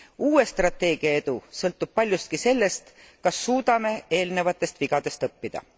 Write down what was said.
Uue strateegia edu sõltub paljuski sellest, kas suudame eelnevatest vigadest õppida.